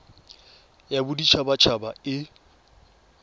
ya bodit habat haba e